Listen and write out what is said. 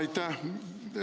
Aitäh!